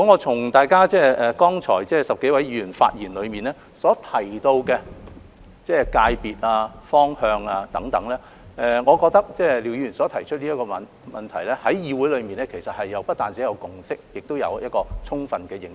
從剛才10多位議員發言內所提及的界別和方向等，我認為廖議員提出的問題在議會內不單有共識，亦有充分的認識。